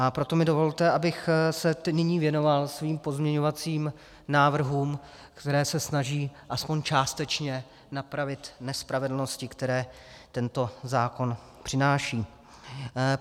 A proto mi dovolte, abych se nyní věnoval svým pozměňovacím návrhům, které se snaží aspoň částečně napravit nespravedlnosti, které tento zákon přináší.